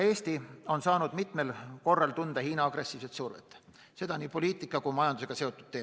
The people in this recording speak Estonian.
Eesti on mitmel korral saanud tunda Hiina agressiivset survet, seda nii poliitika kui majandusega seotult.